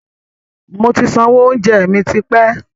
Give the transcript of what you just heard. Moti sanwó oúnjẹ mi tipẹ́